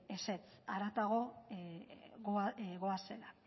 ezetz haratago goazela